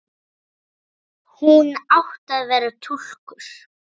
Hún átti að vera túlkur.